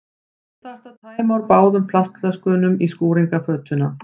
Þú þarft að tæma úr báðum plastflöskunum í skúringafötuna.